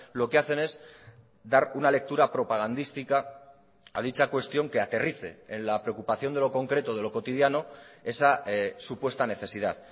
lo que hacen es dar una lectura propagandística a dicha cuestión que aterrice en la preocupación de lo concreto de lo cotidiano esa supuesta necesidad